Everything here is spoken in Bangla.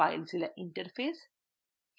filezilla interface